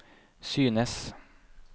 synes